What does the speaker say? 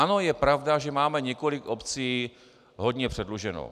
Ano, je pravda, že máme několik obcí hodně předluženo.